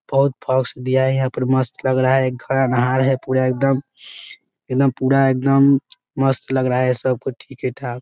बहुत दिया है यहाँ पर मस्त लग रहा है एक घर अनाहर हैं पूरा एकदम एकदम पूरा एकदम मस्त लग रहा है सब कुछ ठीके ठाक --